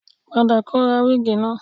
Padà kọ ra wíìgì wá